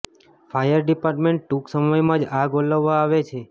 fire department ટૂંક સમયમાં જ આગ ઓલવવા આવે છે